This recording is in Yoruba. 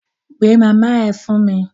Pe màmá ẹ fún mi!